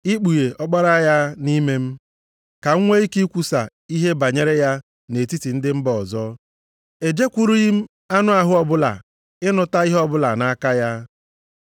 ikpughe Ọkpara ya nʼime m, ka m nwe ike kwusaa ihe banyere ya nʼetiti ndị mba ọzọ, e jekwurughị m anụ ahụ ọbụla ịnụta ihe ọbụla nʼaka ya.